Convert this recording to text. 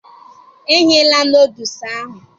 E ghela nodules ahụ